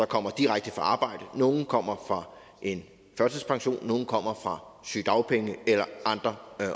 kommer direkte fra arbejde nogle kommer fra en førtidspension nogle kommer fra sygedagpenge eller andre